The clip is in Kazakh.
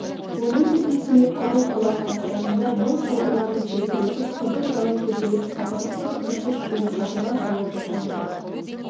оның есесіне құдық бұлақ бастарында мол шоғырланып желбіретіп қызыл жалау көтеріп сапырылысып кірпіш құйып қабырға қалап жатқан жұрт